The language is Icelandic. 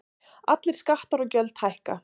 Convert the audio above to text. Allir skattar og gjöld hækka